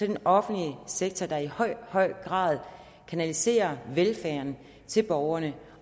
den offentlige sektor som i høj høj grad kanaliserer velfærd til borgerne